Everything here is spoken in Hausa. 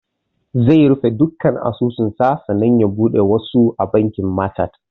Zai rufe duka asusu sa sannan ya buɗe wasu a bankin machat